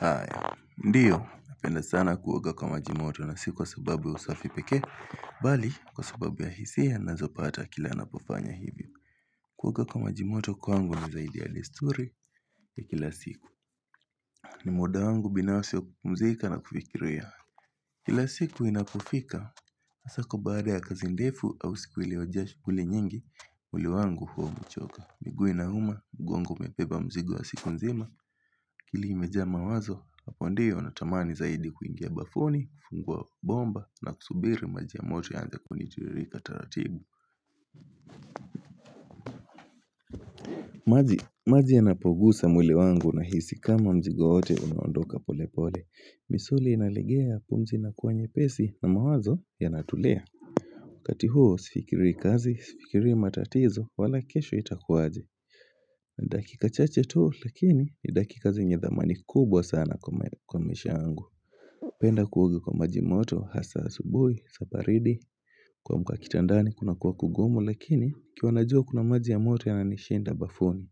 Aya, ndiyo, napenda sana kuoga kwa majimoto na siku wa sababu ya usafi peke, mbali kwa sababu ya hisia nazopata kila napofanya hivyo. Kuoga kwa majimoto kwangu ni zaidi ya desturi ya kila siku. Ni muda wangu binafsi wa kupumzika na kufikiria. Kila siku inapofika, hasa kwa baada ya kazi ndefu au siku iliojaa shughuli nyingi, mwili wangu huwa umechoka. Miguu inauma, mguongo mepeba mzigo wa siku nzima, akili imejaa mawazo, hapo ndiyo natamani zaidi kuingia bafuni, kuffungua bomba na kusubiri maji ya moto yaanze kunitiririka taratibu. Maji yanapogusa mwili wangu nahisi kama mzigo wote unaondoka pole pole, misuli inalegea pumzi inakuwa nyepesi na mawazo yanatulia. Wakati huo sifikiri kazi sifikiri matatizo wala kesho itakuaje dakika chache tu lakini ni dakika zenye dhamani kubwa sana kwa maisha yangu Napenda kuoga kwa maji moto hasa asubuhi kuamka kitandani kuna kuwa kugumu lakini ikiwa najua kuna maji ya moto yananishinda bafuni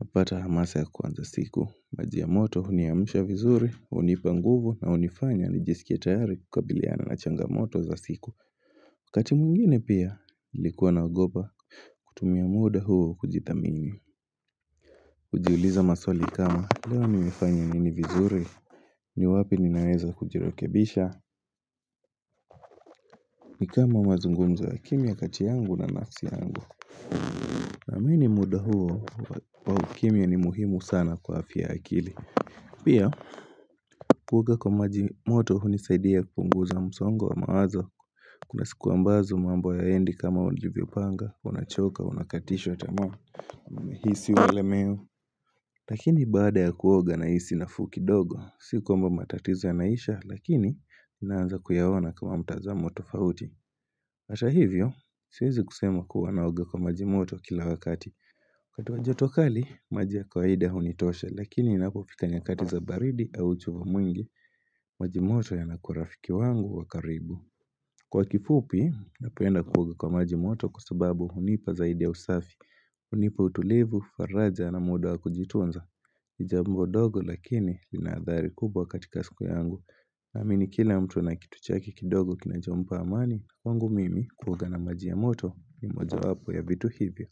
napata hamasa ya kwanza siku maji ya moto huniamisha vizuri hunipa nguvu na hunifanya nijisikie tayari kukabiliana na changamoto za siku wakati mwingine pia nilikuwa naogopa kutumia muda huo kujithamini kujiuliza maswali kama leo nimefanya nini vizuri ni wapi ninaweza kujirekebisha ni kama mazungumzo ya kimya kati yangu na nafsi yangu Naamini muda huo wa ukimya ni muhimu sana kwa afya ya akili Pia Kuoga kwa maji moto hunisaidia kupunguza msongo wa mawazo Kuna sikuwa ambazo mambo hayaendi kama ulivyopanga, unachoka, unakatishwa tamaa unahisi umelemewa Lakini baada ya kuoga nahisi nafuu kidogo Si kwamba matatizo yanaisha lakini Naanza kuyaona kama mtazamo tofauti hata hivyo, siwezi kusema kuwa naoga kwa majimoto kila wakati wakati wa joto kali, maji ya kawaida hunitosha Lakini inapofika nyakati za baridi au uchovu mwingi Majimoto yanakuwa rafiki wangu wa karibu Kwa kifupi, napenda kuoga kwa majimoto kwa sababu hunipa zaidi ya usafi hunipa utulivu, faraja na muda wa kujitunza, ni jambo ndogo lakini linaadhari kubwa katika siku yangu. Naamini kila mtu ana kitu chake kidogo kinachompa amani, kwangu mimi kuoga na maji ya moto ni mojowapo ya vitu hivyo.